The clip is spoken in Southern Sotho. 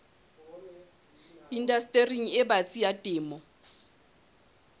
indastering e batsi ya temo